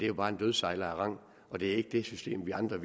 jo bare en dødssejler af rang og det er ikke det system vi andre